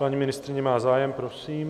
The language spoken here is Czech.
Paní ministryně má zájem, prosím.